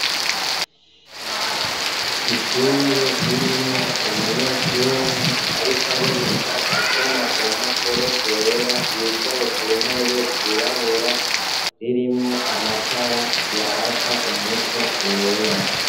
Ishure, ririmwo Umunyeshure ariko ariga, asoma kumpapuro zera, yicaye kuntebe zirabura, ririmwo Amatara yaka, umuco wera.